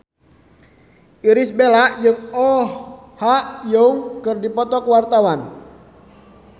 Irish Bella jeung Oh Ha Young keur dipoto ku wartawan